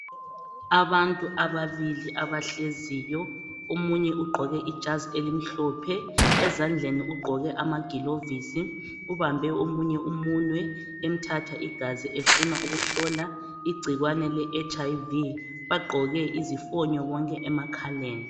Abantu ababili abahleziyo omunye ugqoke ijazi elimhlophe ezandleni ugqoke amagilovisi ubambe omunye umunwe emthatha igazi efuna ukuhlola igcikwane leHIV bagqoke izifonyo bonke emakhaleni.